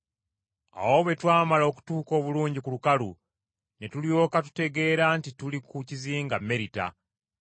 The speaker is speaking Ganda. Awo bwe twamala okutuuka obulungi ku lukalu ne tulyoka tutegeera nti tuli ku kizinga Merita.